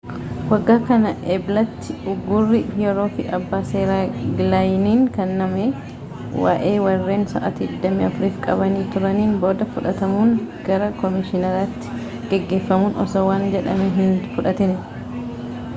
waggaa kana eblatti uuguurri yeroofi abbaa seeraa gilaayiniin kennamee waa'ee warreen sa'aatii 24 f qabamanii turaaniin booda fudhaatamuun gara koomishinaariitti geeffamuun osoo waan jedhamee hin fudhatiin